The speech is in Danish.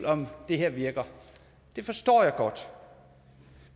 om det her virker det forstår jeg godt